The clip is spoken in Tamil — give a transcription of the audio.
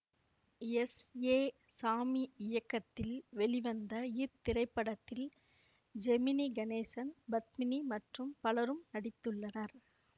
எஸ் ஏ சாமி இயக்கத்தில் வெளிவந்த இத்திரைப்படத்தில் ஜெமினி கணேசன் பத்மினி மற்றும் பலரும் நடித்துள்ளனர்